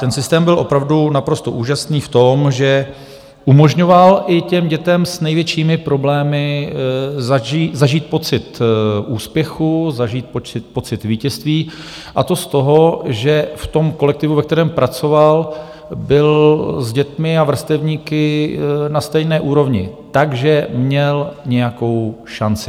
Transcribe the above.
Ten systém byl opravdu naprosto úžasný v tom, že umožňoval i těm dětem s největšími problémy zažít pocit úspěchu, zažít pocit vítězství, a to z toho, že v tom kolektivu, ve kterém pracoval, byl s dětmi a vrstevníky na stejné úrovni, takže měl nějakou šanci.